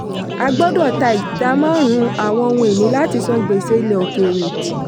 a gbọ́dọ̀ ta ìdá márùn-ún àwọn ohun-ìní láti san gbèsè ilẹ̀ òkèèrè.